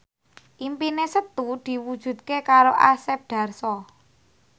impine Setu diwujudke karo Asep Darso